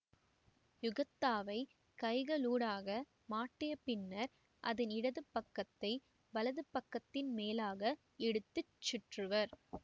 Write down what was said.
யுகத்தாவைக் கைகளூடாக மாட்டிய பின்னர் அதன் இடது பக்கத்தை வலது பக்கத்தின் மேலாக எடுத்து சுற்றுவர்